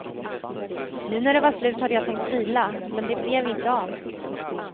Nu när det var slut hade jag tänkt vila, men det blev inte av.